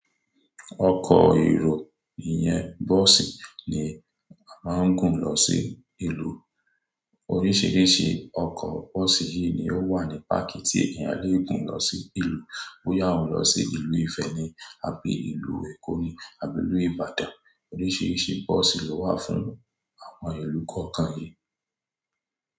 Ọkọ̀ èrò ìyẹn bọ́ọ̀sì ni a máa ń gùn lọ sí ìlú. Oríṣiríṣi ọkọ̀ bọ́ọ̀sì yìí ni ó wà ní páàkì tí èèyàn leè gùn lọ sí ìlú. Bóya wù lọ sí ìlú Ifẹ̀ ni, àbí ìlú Èkó ni, àbí ìlú Ìbàdàn, oríṣiríṣi bọ́ọ̀sì ló wà fún àwọn ìlú kọ̀ọ̀kan yìí.